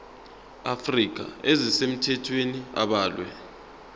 afrika ezisemthethweni abalwe